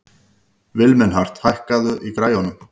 Vilmenhart, hækkaðu í græjunum.